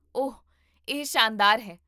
ਓਹ, ਇਹ ਸ਼ਾਨਦਾਰ ਹੈ!